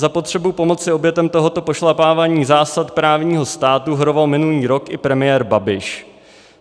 Za potřebu pomoci obětem tohoto pošlapávání zásad právního státu horoval minulý rok i premiér Babiš.